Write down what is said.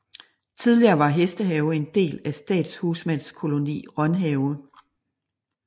Tidligere var Hestehave en del af Statshusmandskoloni Rønhave